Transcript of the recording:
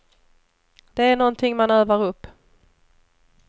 Det är någonting man övar upp.